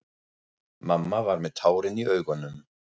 Mamma var með tárin í augunum.